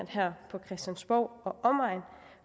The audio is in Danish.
her på christiansborg og omegn